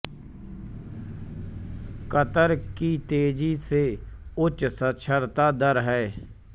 Qatar की तेजी से उच्च साक्षरता दर है